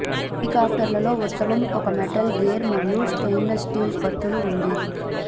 హెలికాప్టర్లో ఉత్తమం ఒక మెటల్ గేర్ మరియు స్టెయిన్లెస్ స్టీల్ కత్తులు ఉంది